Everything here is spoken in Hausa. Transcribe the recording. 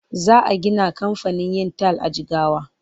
Za a gina kamfanin yin tayil a Jigawa.